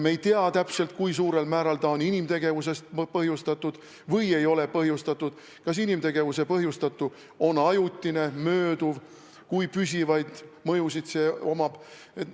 Me ei tea täpselt, kui suurel määral on see inimtegevusest põhjustatud, kas inimtegevuse põhjustatu on ajutine või mööduv, kui püsivad mõjud sel on.